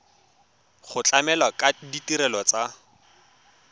go tlamela ka ditirelo tsa